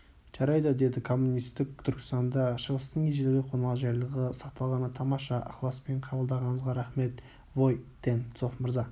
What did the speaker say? жарайды деді коммунистік түркістанда шығыстың ежелгі қонақжайлығы сақталғаны тамаша ықыласпен қабылдағаныңызға рақмет вой-тен-цов мырза